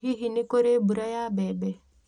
Hihi nĩ kũrĩ mbura ya mbembe